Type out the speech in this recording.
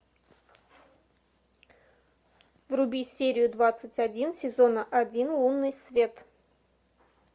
вруби серию двадцать один сезон один лунный свет